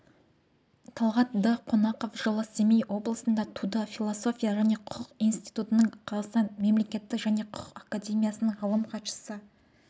талғатдонақов жылы семей облысында туды философия және құқық институтының қазақстанның мемлекет және құқық академиясының ғалым хатшысы